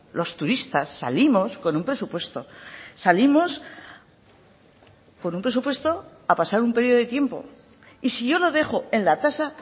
los turistas salimos con un presupuesto salimos con un presupuesto a pasar un periodo de tiempo y si yo lo dejo en la tasa